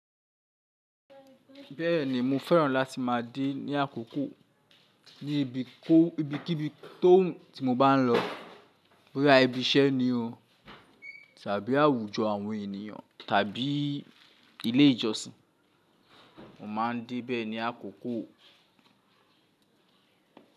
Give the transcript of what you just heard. Bẹ́ẹ̀ni mo fẹ́ràn láti má a dé ní àkókò ní ibi kó ibi kí ibi tó ti mo bá ń lọ boya ibi iṣẹ́ ni o tàbí àwùjọ àwọn ènìyàn tàbí ilé ìjọsìn. Mo má a ń dé bẹ́ẹ̀ ní àkókò.